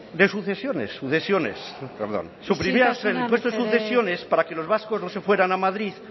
isiltasuna mesedez suprimíamos el impuesto de sucesiones para que los vascos no se fueran a madrid